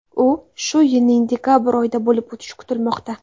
U shu yilning dekabr oyida bo‘lib o‘tishi kutilmoqda.